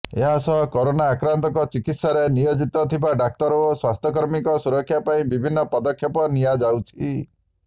ଏହାସହ କରୋନା ଆକ୍ରାନ୍ତଙ୍କ ଚିକିତ୍ସାରେ ନିୟୋଜିତ ଥିବା ଡାକ୍ତର ଓ ସ୍ବାସ୍ଥ୍ୟକର୍ମୀଙ୍କ ସୁରକ୍ଷା ପାଇଁ ବିଭିନ୍ନ ପଦକ୍ଷେପ ନିଆଯାଉଛି